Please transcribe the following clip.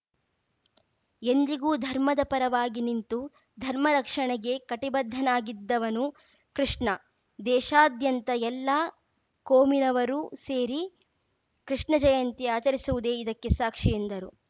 ಎಂದಿಗೂ ಧರ್ಮದ ಪರವಾಗಿ ನಿಂತು ಧರ್ಮ ರಕ್ಷಣೆಗೆ ಕಟಿಬದ್ಧನಾಗಿದ್ದವನು ಕೃಷ್ಣ ದೇಶಾದ್ಯಂತ ಎಲ್ಲಾ ಕೋಮಿನವರೂ ಸೇರಿ ಕೃಷ್ಣ ಜಯಂತಿ ಆಚರಿಸುವುದೇ ಇದಕ್ಕೆ ಸಾಕ್ಷಿ ಎಂದರು